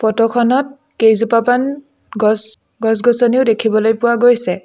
ফটোখনত কেইজোপামান গছ গছ-গছনিও দেখিবলৈ পোৱা গৈছে।